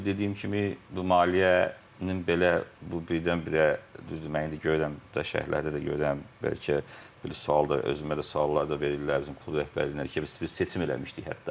Və dediyim kimi, bu maliyyənin belə bu birdən-birə, düzdür mən indi görürəm şərhlərdə də görürəm, bəlkə sual da özümə də suallar da verirlər bizim klub rəhbərliyinə ki, biz seçim eləmişdik hətta, bir ay əvvəl seçim də eləmişdik.